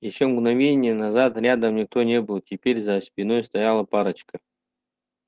ещё мгновение назад рядом никто не был теперь за спиной стояла парочка